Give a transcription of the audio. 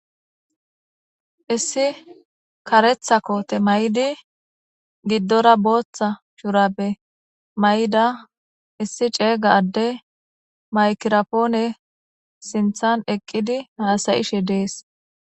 Heyssi kareththa kooththe mayidi gidora booththa shurabe mayida issi cegga adde maykiraponne sinththan eqqidi hassa'shshe dess.